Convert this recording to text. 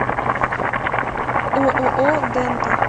ооо дента